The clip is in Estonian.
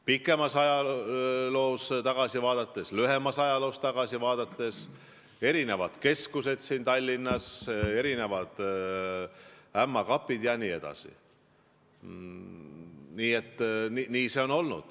Pikemalt või lühemalt ajaloos tagasi vaadates: erinevad keskused siin Tallinnas, erinevad ämma kapid jne.